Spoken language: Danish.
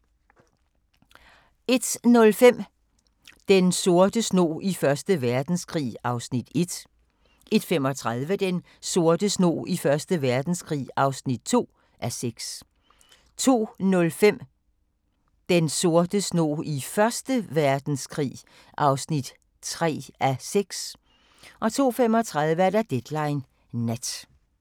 01:05: Den sorte snog i 1. Verdenskrig (1:6) 01:35: Den sorte snog i 1. Verdenskrig (2:6) 02:05: Den sorte snog i Første Verdenskrig (3:6) 02:35: Deadline Nat